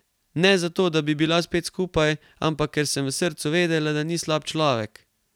Ne zato, da bi bila spet skupaj, ampak ker sem v srcu vedela, da ni slab človek.